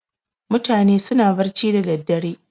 Mutane suna barci da daddare.